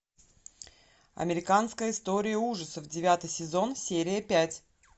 американская история ужасов девятый сезон серия пять